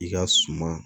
I ka suma